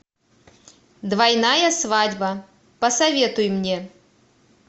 двойная свадьба посоветуй мне